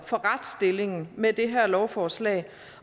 for retsstillingen med det her lovforslag